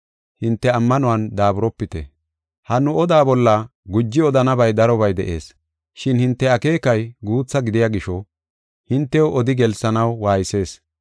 Ha nu oda bolla guji odanabay darobay de7ees, shin hinte akeekay guutha gidiya gisho hintew odi gelsanaw waaysees.